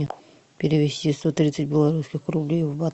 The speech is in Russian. перевести сто тридцать белорусских рублей в бат